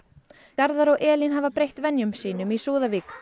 garðar og Elín hafa breytt venjum sínum í Súðavík